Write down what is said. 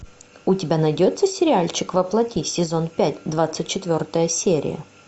у тебя найдется сериальчик во плоти сезон пять двадцать четвертая серия